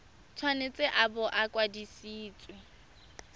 tshwanetse a bo a kwadisitswe